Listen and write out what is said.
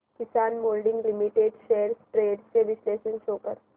किसान moulding limited shares trends चे विश्लेषण show कर